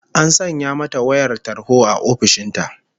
An sanya mata wayar tarho a ofishin ta